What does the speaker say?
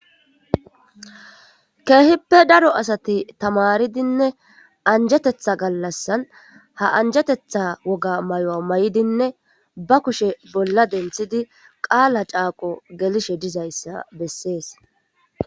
keehippe daro asati tamaridinneanjetetha gallassan ha anjatetha woga mayuwa mayidinne ba kushe bolla denthidi qaala caaqo gelishe dizayssa bessees